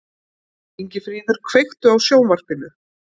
Ingifríður, kveiktu á sjónvarpinu.